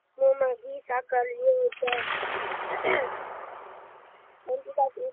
મો માં ઘી સાકાર લો જ મંજુ કાકી